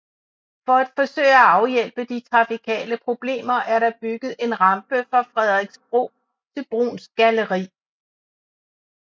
For at forsøge at afhjælpe de trafikale problemer er der bygget en rampe fra Frederiksbro til Bruuns Galleri